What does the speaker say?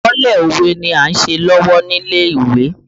Àkọlé òwe ni a ń ṣe lọ́wọ́ nílé ìwé